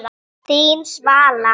Þín, Svala.